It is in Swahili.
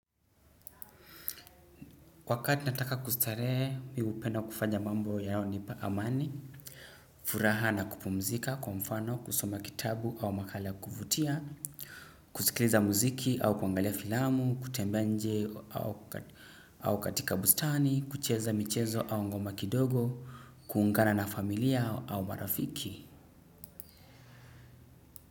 Wakati nataka kustarehe, mimi hupenda kufanya mambo yanayonipa amani, furaha na kupumzika, kwa mfano, kusoma kitabu au makala ya kuvutia, kusikiliza muziki au kuangalia filamu, kutembea nje au au katika bustani, kucheza michezo au ngoma kidogo, kuungana na familia au marafiki.